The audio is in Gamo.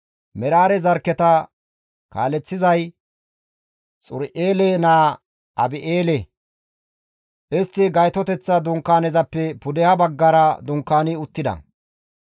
Meraare zarkketa kaaleththizay Xuri7eele naa Abi7eele; istti Gaytoteththa Dunkaanezappe pudeha baggara dunkaani uttida.